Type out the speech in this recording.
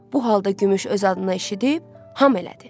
Bu halda gümüş öz adına eşidib, ham elədi.